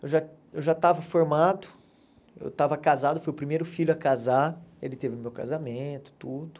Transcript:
Eu já eu já estava formado, eu estava casado, fui o primeiro filho a casar, ele teve meu casamento, tudo.